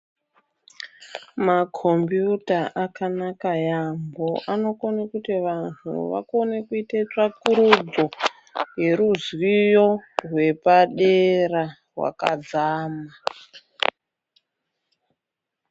Makhombiyuta akanaka yaamho, anokone kuti vantu vakone kuite tsvakurudzo yeruzivo rwepadera rwakadzama.